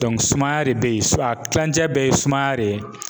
sumaya de be yen ,a kilancɛ bɛɛ ye sumaya de ye.